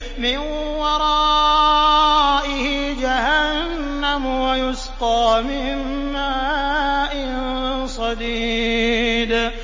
مِّن وَرَائِهِ جَهَنَّمُ وَيُسْقَىٰ مِن مَّاءٍ صَدِيدٍ